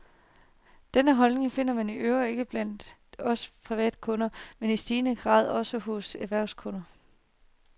Denne holdning finder man i øvrigt ikke blot blandt os privatkunder, men i stigende grad også hos store erhvervskunder.